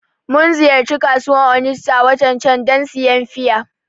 Mun ziyarci kasuwan Onitsha watan can dan siyan fiya